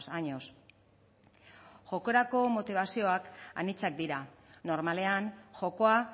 años jokorako motibazioak anitzak dira normalean jokoa